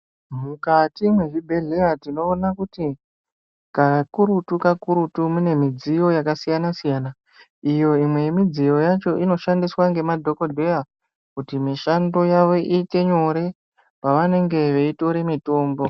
Mukati mezvibhedhlera tinowona kuti kana kurutu kakurutu kunemidziyo yakasiyana siyana. Iyo iyi imwe midziyo yacho inoshandiswa ngemadhokodheya kuti mishando yavo ite nyore pavanenge veyitore mitombo.